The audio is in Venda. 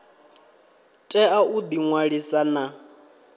tea u ḓi ṅwalisa na